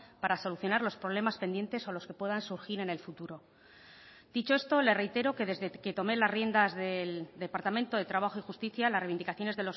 para solucionar los problemas pendientes o los que puedan surgir en el futuro dicho esto le reitero que desde que tomé las riendas del departamento de trabajo y justicia las reivindicaciones